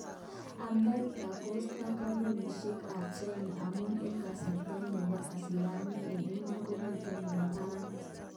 America kosta kampunishek kap China amun eng kaseretet nebo isilamiek eng iman komiten nebo barit